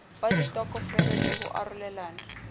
wa ditokofele le ho arolelana